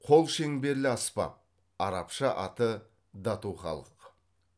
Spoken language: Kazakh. қолшеңберлі аспап арабша аты датухалық